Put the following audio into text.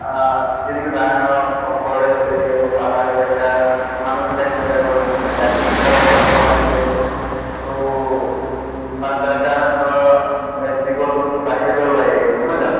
আহ যেনেকে forest area বা পাহাৰ এলেকা মানুহ বিলাকে গছ গছ্নি কাটি ঘৰ চৰ বনাইছে। তʼ তাৰ কাৰণে ধৰা উ এহ জীৱ জন্তু বাহিৰলৈ ওলাই আহিছে নহয় জানো?